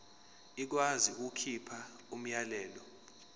ikwazi ukukhipha umyalelo